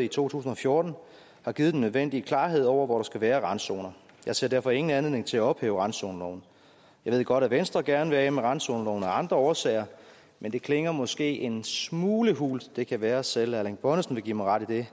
i to tusind og fjorten har givet den nødvendige klarhed over hvor der skal være randzoner jeg ser derfor ingen anledning til at ophæve randzoneloven jeg ved godt at venstre gerne vil af med randzoneloven af andre årsager men det klinger måske en smule hult det kan være at selv erling bonnesen vil give mig ret i det